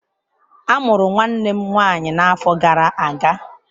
A mụrụ nwanne m nwanyị n'afọ gara aga.